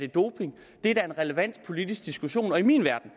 doping det er da en relevant politisk diskussion i min verden